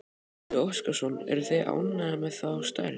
Gísli Óskarsson: Eruð þið ánægðir með þá stærð?